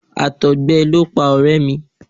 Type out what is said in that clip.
Àtọ̀gbẹ ló pa ọ̀rẹ́ mi.